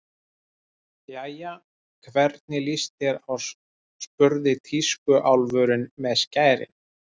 Jæja, hvernig líst þér á spurði tískuálfurinn með skærin.